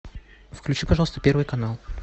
включи пожалуйста первый канал